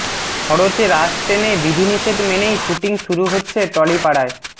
খরচে রাশ টেনে বিধিনিষেধ মেনেই শুটিং শুরু হচ্ছে টলিপাড়ায়